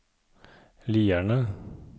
Lierne